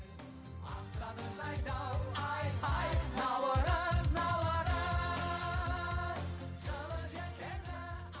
ақтады жайдау айхай наурыз наурыз жылы жел келді а